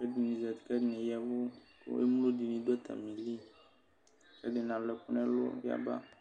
ɛdini zati kʋ ɛdini ya ɛvʋ kʋ yovo dini dʋ atamili ɛdini alʋ ɛkʋ nʋ ɔlʋ yaba